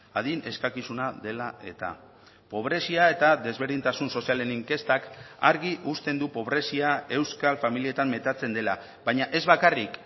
adin eskakizuna dela eta pobrezia eta desberdintasun sozialen inkestak argi uzten du pobrezia euskal familietan metatzen dela baina ez bakarrik